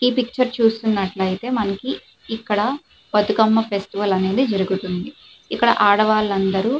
ఈ పిక్చర్ చూసుకున్నట్లయితే మనకి ఇక్కడ బతుకమ్మ ఫెస్టివల్ అనేది జరుగుతుంది ఇక్కడ ఆడవాళ్లందరూ --